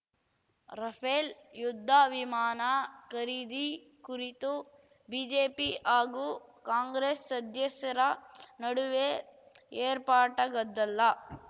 Rafale ಯುದ್ಧ ವಿಮಾನ ಖರೀದಿ ಕುರಿತು ಬಿಜೆಪಿ ಹಾಗೂ ಕಾಂಗ್ರೆಸ್‌ ಸದಸ್ಯರ ನಡುವೆ ಏರ್ಪಟ್ಟಾಗದ್ದಲ